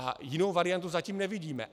A jinou variantu zatím nevidíme.